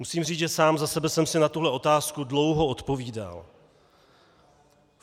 Musím říct, že sám za sebe jsem si na tuhle otázku dlouho odpovídal.